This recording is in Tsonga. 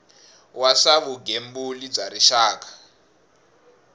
wa swa vugembuli bya rixaka